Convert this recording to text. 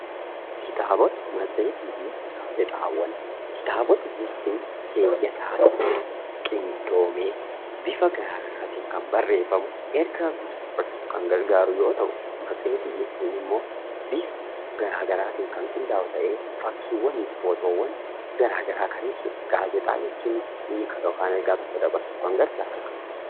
Kitaabota maseetii fi Gaazexaawwan: Kitaabota jechuun keeyyataan qindoomee bifa garaa garaatiin kan barreeffamu, ergaa guutuu dabarsuuf kan gargaaru yoo ta'u, maseetii jechuun immoo bifa garaa garaatiin kan qindaa'u ta'ee, fakkiiwwanii fi footoowwan garaa garaa kan ibsudha. Gaazexaa jechuun hiika yookaan ergaa tokko dabarsuuf kan gargaarudha.